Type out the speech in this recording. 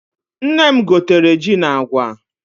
Nne m gotere ji na agwa.